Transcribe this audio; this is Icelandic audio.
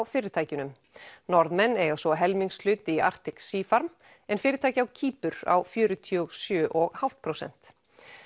fyrirtækjunum Norðmenn eiga svo helmingshlut í Arctic Sea farm en fyrirtæki á Kýpur á fjörutíu og sjö og hálft prósent